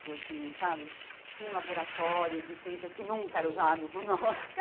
Muito assim sabe Tinha um laboratório de ciências que nunca era usado por nós.